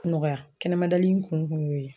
Nɔgɔya kɛnɛma dali kun kun y'o ye.